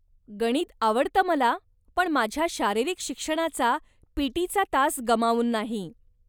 गणित आवडतं मला, पण माझ्या शारीरिक शिक्षणाचा ,पी.टी. तास गमावून नाही.